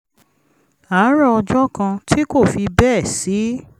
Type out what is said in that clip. àárọ̀ ọjọ́ kan tí kò fi bẹ́ẹ̀ sí